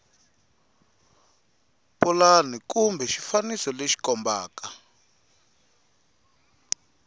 pulani kumbe xifaniso lexi kombaka